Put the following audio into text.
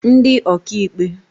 ndị ọkaikpe